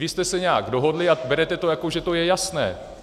Vy jste se nějak dohodli a berete to, jako že to je jasné.